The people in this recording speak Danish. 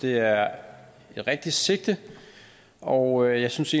det er et rigtigt sigte og jeg synes